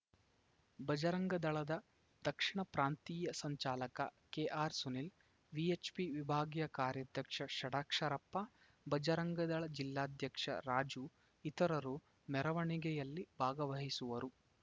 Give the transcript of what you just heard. ಬಜರಂಗದಳದ ದಕ್ಷಿಣ ಪ್ರಾಂತೀಯ ಸಂಚಾಲಕ ಕೆಆರ್‌ ಸುನಿಲ್‌ ವಿಎಚ್‌ಪಿ ವಿಭಾಗೀಯ ಕಾರ್ಯಾಧ್ಯಕ್ಷ ಷಡಾಕ್ಷರಪ್ಪ ಬಜರಂಗದಳ ಜಿಲ್ಲಾಧ್ಯಕ್ಷ ರಾಜು ಇತರರು ಮೆರವಣಿಗೆಯಲ್ಲಿ ಭಾಗವಹಿಸುವರು